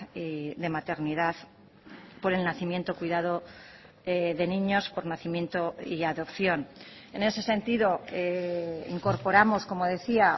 y de maternidad por el nacimiento cuidado de niños por nacimiento y adopción en ese sentido incorporamos como decía